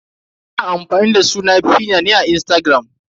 Ina amfani da suna 'feena" ne a Instagram.